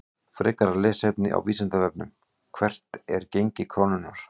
Frekara lesefni á Vísindavefnum: Hvert er gengi krónunnar?